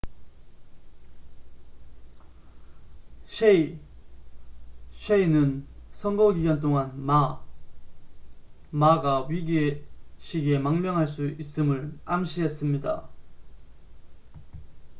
셰이hsieh는 선거 기간 동안 마ma가 위기의 시기에 망명할 수 있음을 암시했습니다